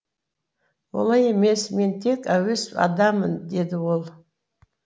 олай емес мен тек әуес адаммын деді ол